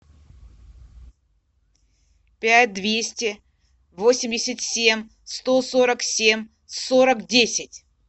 пять двести восемьдесят семь сто сорок семь сорок десять